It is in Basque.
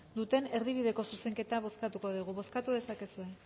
duten erdibideko zuzenketa bozkatuko dugu bozkatu dezakegu